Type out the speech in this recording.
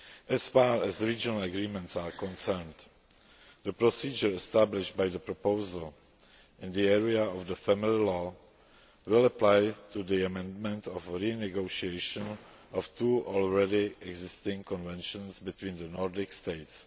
As far as regional agreements are concerned, the procedure established by the proposal in the area of the family law will apply to the amendment or renegotiation of two already existing conventions between the Nordic States.